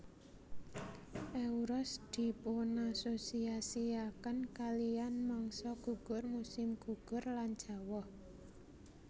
Euros dipunasosiasiaken kalihan mangsa gugur musim gugur lan jawah